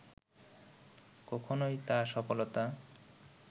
কখনওই তা সফলতা